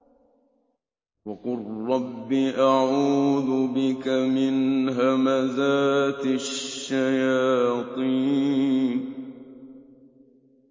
وَقُل رَّبِّ أَعُوذُ بِكَ مِنْ هَمَزَاتِ الشَّيَاطِينِ